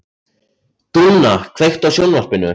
Dúnna, kveiktu á sjónvarpinu.